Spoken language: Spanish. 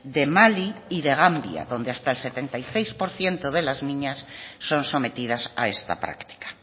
de mali y de gambia donde hasta el setenta y seis por ciento de las niñas son sometidas a esta práctica